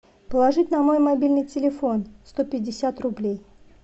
положить на мой мобильный телефон сто пятьдесят рублей